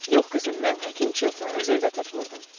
Yox, qızım, mən həkim Chilttonu nəzərdə tutmurdum.